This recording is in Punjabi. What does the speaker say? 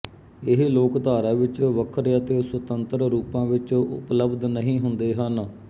ਇਹ ਲੋਕਧਾਰਾ ਵਿਚ ਵਖਰੇ ਅਤੇ ਸੁਤੰਤਰ ਰੂਪਾਂ ਵਿਚ ਉਪਲਬਧ ਨਹੀ ਹੁੰਦੇ ਹਨ